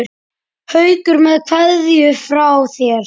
Haukur með kveðju frá þér.